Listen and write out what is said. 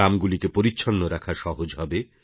গ্রামগুলিকে পরিচ্ছন্ন রাখা সহজ হবে